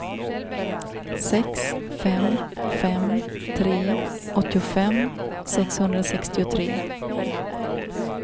sex fem fem tre åttiofem sexhundrasextiotre